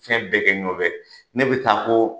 Fɛn bɛɛ bɛ nɔfɛ ne bɛ taa n ko